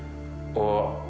og